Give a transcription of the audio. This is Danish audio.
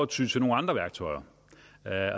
ty til nogle andre værktøjer